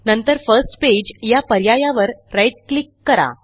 नंतरFirst page या पर्यायावर right click करा